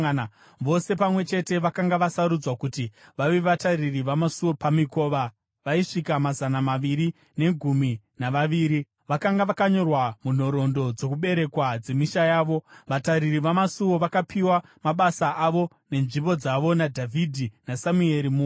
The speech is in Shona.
Vose pamwe chete vakanga vasarudzwa kuti vave vatariri vamasuo pamikova vaisvika mazana maviri negumi navaviri. Vakanga vakanyorwa munhoroondo dzokuberekwa dzemisha yavo. Vatariri vamasuo vakapiwa mabasa avo nenzvimbo dzavo naDhavhidhi naSamueri muoni.